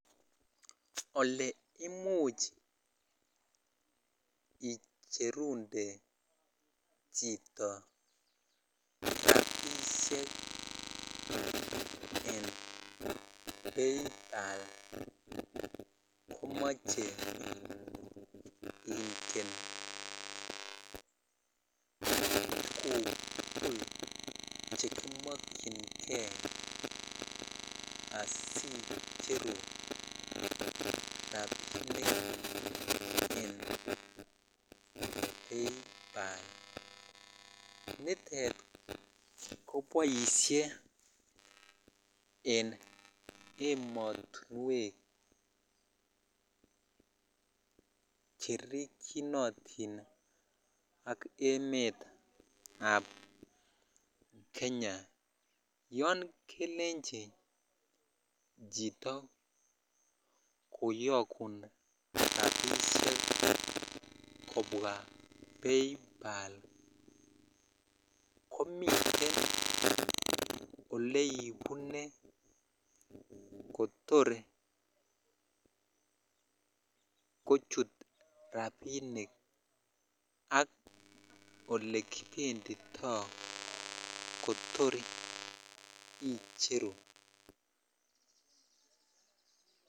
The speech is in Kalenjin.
Oleimuch icherundet chito rapisiek en paypal komoche itinye tuguk tugul chekimokyingee asiicheru rapinik en paypal nitet koboisien en emotinwek cherikyinotin ak emetab kenya yon kelenji chito koyogun rapisiek kobwa paypal komiten oleibune kotor kochut rapinik ak olekibenditoo kot icheru.